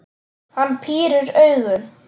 Hann pírir augun.